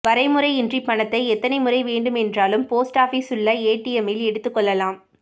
வரைமுறையின்றி பணத்தை எத்தனை முறை வேண்டுமென்றாலும் போஸ்ட் ஆபீஸில் உள்ள ஏடிஎம்மில் எடுத்துக் கொள்ளலாம்